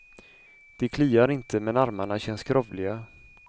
De kliar inte, men armarna känns skrovliga.